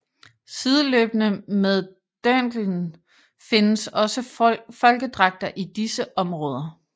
Sideløbende med dirndlen findes også folkedragter i disse områder